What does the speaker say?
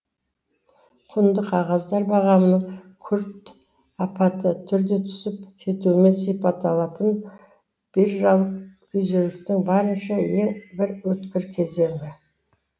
құнды қағаздар бағамының күрт апаты түрде түсіп кетуімен сипатталатын биржалық күйзелістің барынша ең бір өткір кезеңі